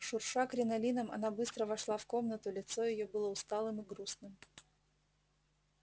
шурша кринолином она быстро вошла в комнату лицо её было усталым и грустным